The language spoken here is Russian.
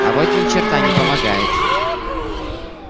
а вот ни черта не помогает